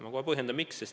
Ma kohe põhjendan, miks.